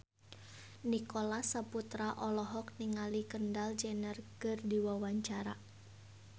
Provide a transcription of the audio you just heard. Nicholas Saputra olohok ningali Kendall Jenner keur diwawancara